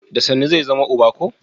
Da sannu zai zama uba ko?